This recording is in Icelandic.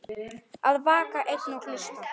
Að vaka einn og hlusta